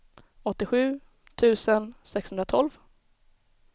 åttiosju tusen sexhundratolv